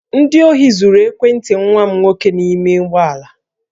Ndị ohi zuru ekwentị nwa m nwoke n'ime ụgbọ ala